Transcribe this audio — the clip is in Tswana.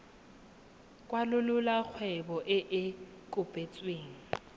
kwalolola kgwebo e e kopetsweng